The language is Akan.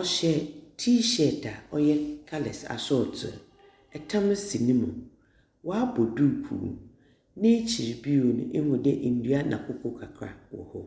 Ɔhyɛ T-shirt a ɔyɛ colours asorɔtow, tam si no mu, ɔabɔ duukuu. N’ekyir bio no, ihu dɛ ndua na koko kakra wɔ hɔ.